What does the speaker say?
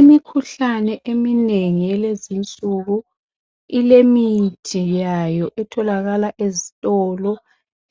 Imikhuhlane eminengi elezinsuku ilemithi yayo ethololakala ezitolo